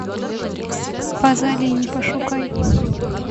пазолини пошукай